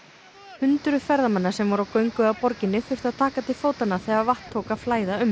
hundruð ferðamanna sem voru á göngu að borginni þurftu að taka til fótanna þegar vatn tók að flæða um